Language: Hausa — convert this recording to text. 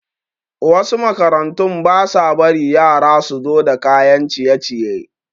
Wasu makarantun basa bari yara suzo da kayan ciye ciye